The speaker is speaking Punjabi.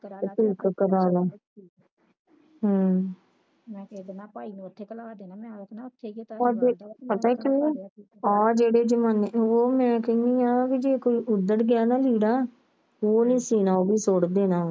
ਤੇ ਠੀਕ ਕਰਵਾਲਾ ਹਮ ਪਤਾ ਕਿ ਆ ਜੇਦੇ ਜਿਮਾਣੇ ਚ ਮੈਂ ਕਹਿਣੀ ਆ ਜੇ ਕੋਈ ਉਦਰ ਗਿਆ ਨਾ ਲੀੜਾ ਏ ਨਹੀਂ ਸੁਣਾ ਸੁੱਟ ਦੇਣਾ ਵਾ